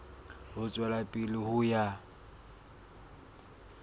ho tswela pele ho ya